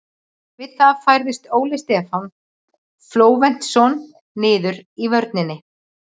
Við það færðist Óli Stefán Flóventsson niður í vörnina.